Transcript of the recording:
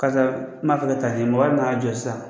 Karisa n m'a fɛ ka taa ni ye, mɔgɔ bɛn'a jɔ sisan